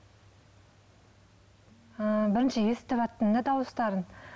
ыыы бірінші естіваттым да дауыстарын